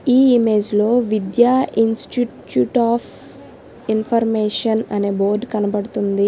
ఈ ఇమేజ్ లో Vidya institute of information అనే బోర్డ్ కనబడుతుంది.